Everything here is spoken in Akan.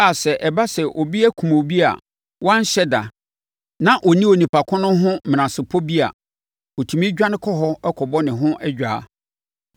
a, sɛ ɛba sɛ obi akum obi a wanhyɛ da na ɔnni onipa ko no ho menasepɔ bi a, ɔtumi dwane kɔ hɔ kɔbɔ ne ho adwaa.